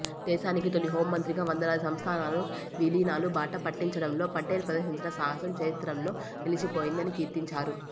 దేశానికి తొలి హోంమంత్రిగా వందలాది సంస్థానాలను విలీనాల బాట పట్టించడంలో పటేల్ ప్రదర్శించిన సాహసం చరిత్రలో నిలిచిపోయింది అని కీర్తించారు